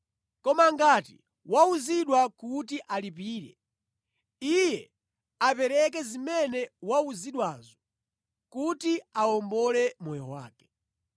Koma ngati wauzidwa kuti alipire, iye apereke zimene wauzidwazo kuti awombole moyo wake.